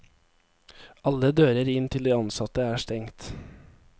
Alle dører inn til de ansatte er stengt.